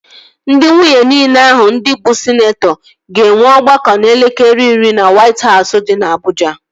Ndị nwunye niile ahụ ndị bụ sịneetọ ga-enwe ọgbakọ n'elekere iri na Wait Hausụ dị na Abụja